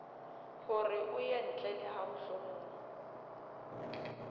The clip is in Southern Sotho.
horeo yentle le hamohlomong o